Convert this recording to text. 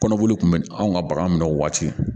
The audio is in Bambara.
Kɔnɔboli kun bɛ anw ka bagan minɛ o waati